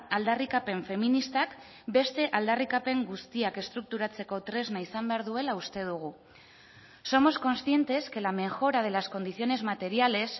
aldarrikapen feministak beste aldarrikapen guztiak estrukturatzeko tresna izan behar duela uste dugu somos conscientes que la mejora de las condiciones materiales